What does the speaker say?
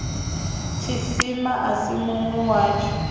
tshisima a si munwi watsho